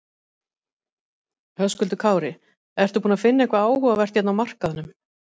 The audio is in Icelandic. Höskuldur Kári: Ertu búinn að finna eitthvað áhugavert hérna á markaðnum?